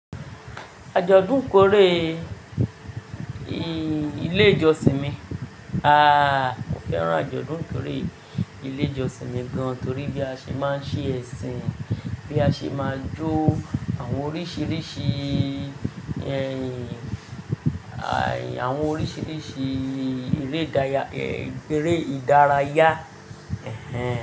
Ajọdun kore ì, ilé ìjọsìn mi. Ah, mo fẹ́ràn ajọdun ikore ilé ìjọsìn mi gan, torí bí a ṣe máa ń ṣe ẹ̀sìn, bí a ṣe máa ń jó àwọn oríṣiríṣi, awọn orisirisi ere idaraya eré ìdárayá, ẹhẹn.